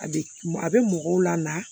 A bɛ a bɛ mɔgɔw la